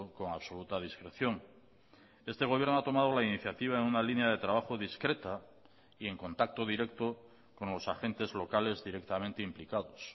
con absoluta discreción este gobierno ha tomado la iniciativa en una línea de trabajo discreta y en contacto directo con los agentes locales directamente implicados